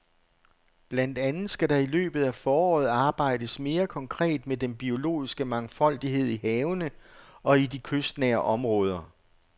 Blandt andet skal der i løbet af foråret arbejdes mere konkret med den biologiske mangfoldighed i havene og i de kystnære områder.